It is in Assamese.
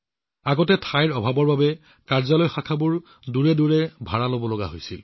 পূৰ্বতে ঠাইৰ অভাৱৰ বাবে দূৰৈৰ ঠাইত ভাড়াত কাৰ্যালয়বোৰৰ কাম চলাবলগীয়া হৈছিল